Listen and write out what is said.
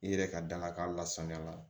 I yɛrɛ ka dalakan lasaniya